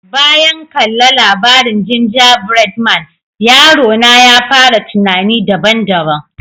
Bayan kalla labarin ginjabread man, yaro na ya fara tunanni daban-daban.